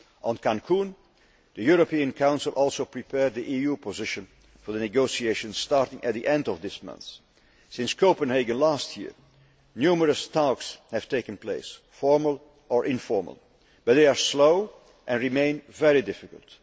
On Cancún, the European Council also prepared the EU position for the negotiations starting at the end of this month. Since Copenhagen last year, numerous talks have taken place formal or informal but they are slow and remain very difficult.